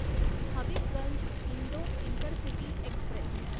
Habibganj Indore intercity Express